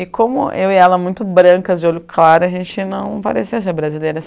E como eu e ela muito brancas, de olho claro, a gente não parecia ser brasileira.